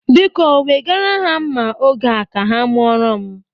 Biko, wegara ha nma oge a ka ha mụoro m echi.